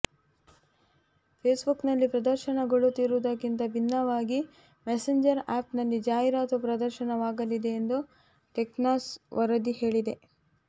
ಫೇಸ್ಬುಕ್ನಲ್ಲಿ ಪ್ರದರ್ಶನಗೊಳ್ಳುತ್ತಿರುವುದಕ್ಕಿಂತ ಭಿನ್ನವಾಗಿ ಮೆಸೇಂಜರ್ ಆಪ್ನಲ್ಲಿ ಜಾಹೀರಾತು ಪ್ರದರ್ಶನವಾಗಲಿದೆ ಎಂದು ಟೆಕ್ಕ್ರಂಚ್ ವರದಿ ಹೇಳಿದೆ